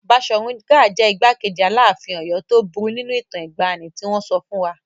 Baṣọ̀run Gáà jẹ́ igbákejì Aláàfin Ọ̀yọ́ tó burú nínú ìtàn ìgbàanì tí wọn sọ fún wa.